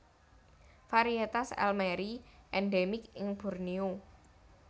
Varietas elmeri endemik ing Borneo